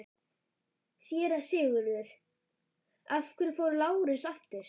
SÉRA SIGURÐUR: Af hverju fór Lárus aftur?